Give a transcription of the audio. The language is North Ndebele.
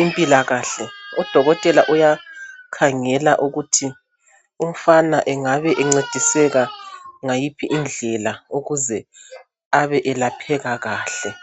impilakahle , udokotela uyakhangela ukuthi umfana engabe encediseka ngayiphi indlela ukuze abe elapheka kahle